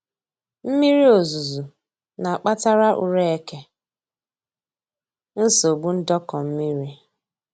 Mmiri ozuzu na-akpatara ure eke nsogbu ndọkọ mmiri